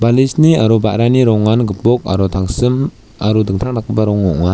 balisni aro ba·rani rongan gipok aro tangsim aro dingtang dakgipa rong ong·a.